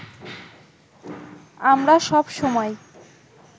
আমরা সব সময়